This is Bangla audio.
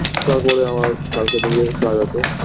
তারপরে আমার কালকের থেকেকাজ আছে